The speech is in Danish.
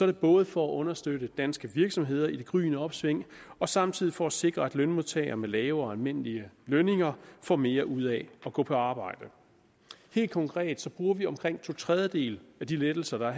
det både for at understøtte danske virksomheder i det gryende opsving og samtidig for at sikre at lønmodtagere med lave og almindelige lønninger får mere ud af at gå på arbejde helt konkret bruger vi omkring to tredjedele af de lettelser der